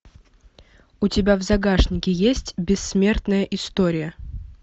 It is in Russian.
у тебя в загашнике есть бессмертная история